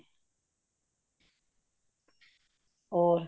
ਹੋਰ